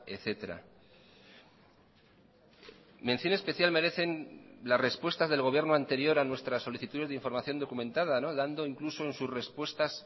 etcétera mención especial merecen las respuestas del gobierno anterior a nuestras solicitudes de información documentada dando incluso en sus respuestas